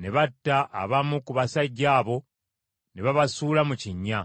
ne batta abamu ku basajja abo, ne babasuula mu kinnya.